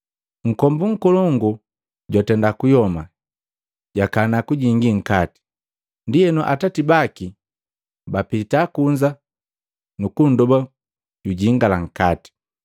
Nkombu nkolongu jwatenda kuyoma, jakana kujingi nkati, ndienu atati baki bapita kunza nuku nndoba jujingala nkati.